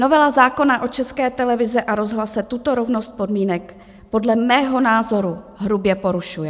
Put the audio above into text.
Novela zákona o České televizi a rozhlase tuto rovnost podmínek podle mého názoru hrubě porušuje.